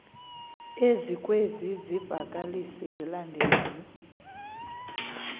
ezikwezi zivakalisi zilandelayo